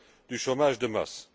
du chômage de masse.